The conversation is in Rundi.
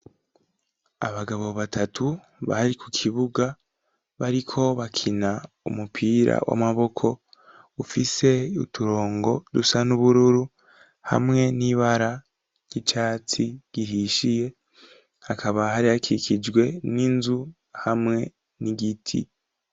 Abagabo batatu bari ku kibuga bariko bakina umupira w'amaboko ufise uturongo dusa n'ubururu hamwe n'ibara ry'icatsi gihishiye hakaba hari akikijwe n'inzu hamwe n'igiti.